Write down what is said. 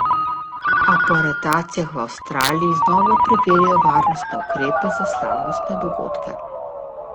A po aretacijah v Avstraliji znova preverjajo varnostne ukrepe za slavnostne dogodke.